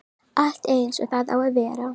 Allt eins og það á að vera